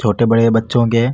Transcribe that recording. छोटे बड़े बच्चो के --